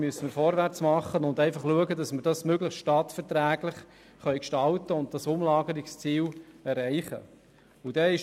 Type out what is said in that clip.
Jetzt müssen wir vorwärts machen und dafür sorgen, dass man das möglichst stadtverträglich gestalten und das Umlagerungsziel erreichen kann.